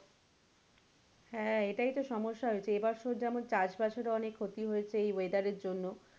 হ্যাঁ এটাই তো সমস্যা হয়েছে এবছর যেমন চাষ বাসের ও অনেক ক্ষতি হয়েছে এই weather এর জন্য